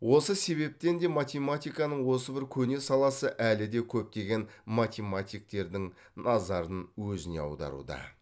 осы себептен де математиканың осы бір көне саласы әлі де көптеген математиктердің назарын өзіне аударуда